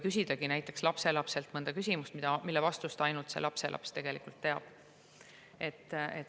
Võibki küsida lapselapselt mõnda küsimust, mille vastust ainult tema teab.